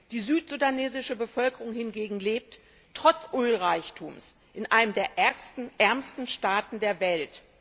Die südsudanesische Bevölkerung hingegen lebt trotz Ölreichtums in einem der ärmsten Staaten der Welt.